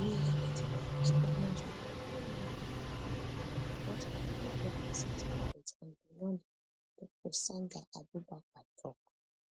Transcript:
we identify each pregnant woman know wia she dey live and support her through pregnancy childbirth and beyond dr sandahabubakar tok